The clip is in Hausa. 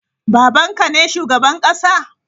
Baban ka ne shugaban kasa?